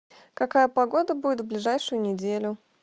какая погода будет в ближайшую неделю